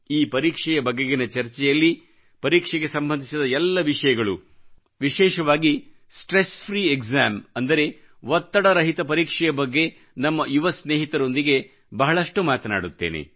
ಈ ಪರೀಕ್ಷೆಯ ಬಗೆಗಿನ ಚರ್ಚೆಯಲ್ಲಿ ಪರೀಕ್ಷೆಗೆ ಸಂಬಂಧಿಸಿದ ಎಲ್ಲ ವಿಷಯಗಳೂವಿಶೇಷವಾಗಿ ಒತ್ತಡ ರಹಿತ ಪರೀಕ್ಷೆಯ ಬಗ್ಗೆ ನಮ್ಮ ಯುವ ಸ್ನೇಹಿತರೊಂದಿಗೆ ಬಹಳಷ್ಟು ಮಾತನಾಡುತ್ತೇನೆ